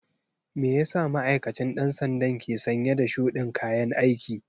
Meyasa ma'aikacin ɗan sandan ke sanye da shudin kayan aiki?